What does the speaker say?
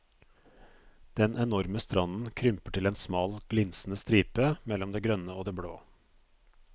Den enorme stranden krymper til en smal glinsende stripe mellom det grønne og det blå.